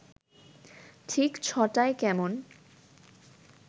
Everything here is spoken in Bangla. ঠিক ছ’টায় কেমন